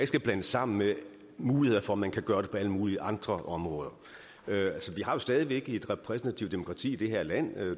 skal blandes sammen med muligheder for at man kan gøre det på alle mulige andre områder vi har jo stadig væk et repræsentativt demokrati i det her land